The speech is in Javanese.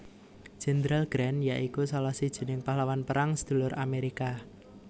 Jenderal Grant ya iku salah sijining pahlawan Perang Sedulur Amerika